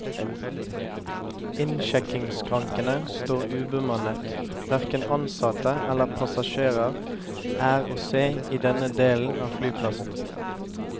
Innsjekkingsskrankene står ubemannet, hverken ansatte eller passasjerer er å se i denne delen av flyplassen.